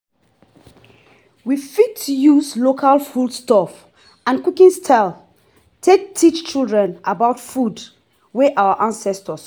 we fit use local food stuff and cooking style take teach children about food wey our ancestor cook